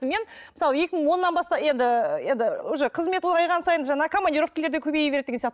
мен мысалы екі мың оннан бастап енді енді уже қызмет ұлғайған сайын жаңағы командировкалар да көбейе береді деген сияқты